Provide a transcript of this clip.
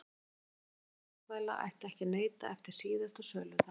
Viðkvæmra matvæla ætti ekki að neyta eftir síðasta söludag.